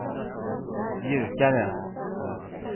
mjukare